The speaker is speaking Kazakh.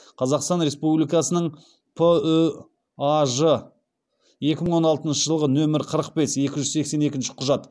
қазақстан республикасының пүаж ы екі мың он алтыншы жылғы нөмір қырық бес екі жүз сексен екінші құжат